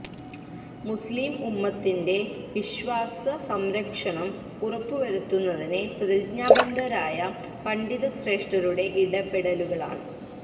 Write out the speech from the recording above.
മുസ്ലിം ഉമ്മത്തിന്റെ വിശ്വാസ സംരക്ഷണം ഉറപ്പുവരുത്തുന്നതിന് പ്രതിജ്ഞാബദ്ധരായ പണ്ഡിത ശ്രേഷ്ടരുടെ ഇടപെടലുകളാണ്